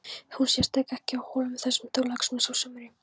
Hún sést ekki á Hólum þessa Þorláksmessu á sumri.